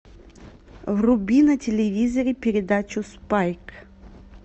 вруби на телевизоре передачу спайк